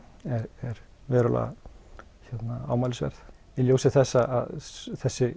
er verulega ámælisverð í ljósi þess að þessi